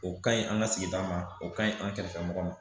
O ka ɲi an ka sigida ma o ka ɲi an kɛrɛfɛ mɔgɔ ma